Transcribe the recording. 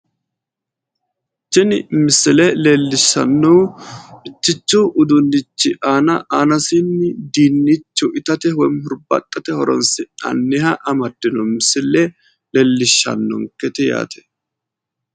tini misile leellishshannohu mittichu uduunni aana aanasiinni dinnichu itate woyi hurbaaxxate horonsi'nanniha amaddino misile leellishshannonkete yaate.